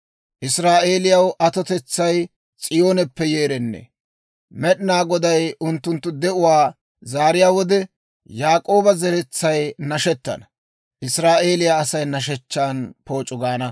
Israa'eeliyaw atotetsay S'iyooneppe yeerennee! Med'inaa Goday unttunttu de'uwaa zaariyaa wode, Yaak'ooba zeretsay nashettana; Israa'eeliyaa Asay nashshechchaa pooc'u gaana.